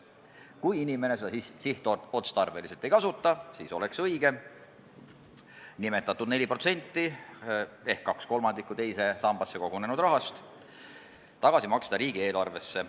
Kui inimene seda sihtotstarbeliselt ei kasuta, siis oleks õigem maksta nimetatud 45% ehk 2/3 teise sambasse kogunenud rahast tagasi riigieelarvesse.